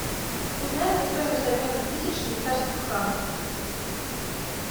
узнай мне стоимость обмена тысяч швейцарских франков